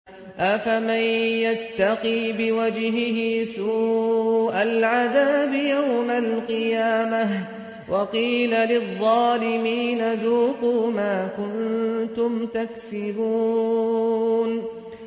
أَفَمَن يَتَّقِي بِوَجْهِهِ سُوءَ الْعَذَابِ يَوْمَ الْقِيَامَةِ ۚ وَقِيلَ لِلظَّالِمِينَ ذُوقُوا مَا كُنتُمْ تَكْسِبُونَ